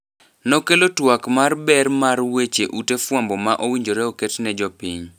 Nokelo twak mar ber mar weche ute fwambo ma owinjore oket ne jopiny.